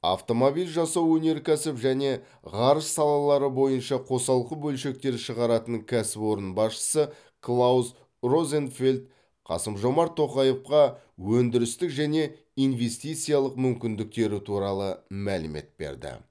автомобиль жасау өнеркәсіп және ғарыш салалары бойынша қосалқы бөлшектер шығаратын кәсіпорын басшысы клаус розенфельд қасым жомарт тоқаевқа өндірістік және инвестициялық мүмкіндіктері туралы мәлімет берді